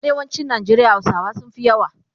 A arewacin Nigeria hausawa sunfi yawa